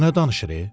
Bu nə danışır?